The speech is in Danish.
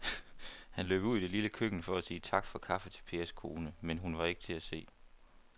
Han løb ud i det lille køkken for at sige tak for kaffe til Pers kone, men hun var ikke til at se.